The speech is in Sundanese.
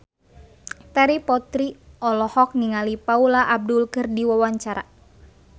Terry Putri olohok ningali Paula Abdul keur diwawancara